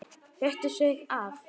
Rétti sig af.